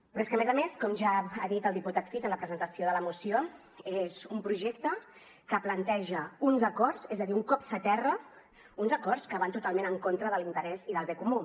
però és que a més a més com ja ha dit el diputat cid en la presentació de la moció és un projecte que planteja uns acords és a dir un cop s’aterra uns acords que van totalment en contra de l’interès i del bé comú